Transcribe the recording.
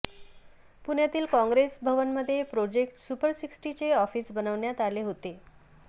पुण्यातील काँग्रेस भवनमध्ये project super सिक्स्टीचे ऑफिस बनवण्यात आले होते